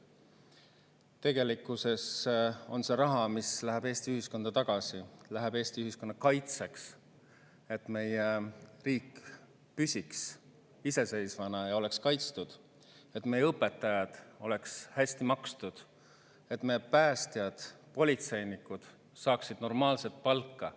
Tegelikkuses läheb see raha Eesti ühiskonda tagasi: läheb Eesti ühiskonna kaitseks, et meie riik püsiks iseseisvana ja oleks kaitstud, et meie õpetajad oleks hästi makstud, et me päästjad ja politseinikud saaksid normaalset palka.